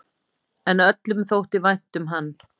En öllum þótti vænt um hann.